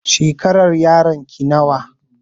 Shekarar yaron ki nawa?